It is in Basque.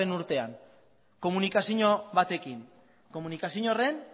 urtean komunikazio batekin komunikazio horren